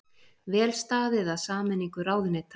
Vel staðið að sameiningu ráðuneyta